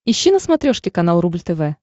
ищи на смотрешке канал рубль тв